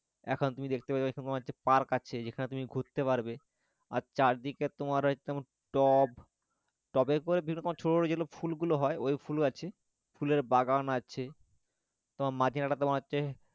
এখন তুমি দেখতে পেলে তোমার যে park আছে যেখানে তুমি ঘুরতে পারবে আর চারদিকটা তোমার ওই যেমন টব টবের ওপরে বিভিন্ন রকম যে ছোটো ছোটো ফুলগুলো হয় ওই ফুল আছে ফুলের বাগান আছে তোমার মাঝখানে তোমার হচ্ছে